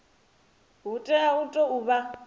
hu tea u tou vha